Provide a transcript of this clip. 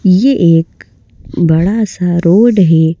ये एक बड़ा सा रोड है ।